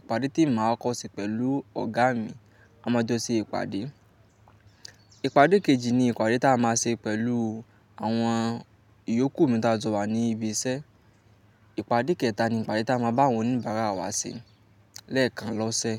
ìpàdé tí èmi máa kọ́kọ́ ṣé pẹ̀lú ọ̀gá mi, a máa jọ ṣe ìpàdé. Ìpàdé kejì ni ìpàdé tí a máa ṣe pẹ̀lú àwọn ìyókù mi tí a jọ wà ní ibi iṣẹ Ìpàdé kẹta ni ìpàdé tí a máa bá àwọn oníbàárà wa ṣe lẹ́ẹ̀kan ló ṣe.